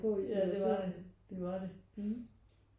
Ja det var det. Det var det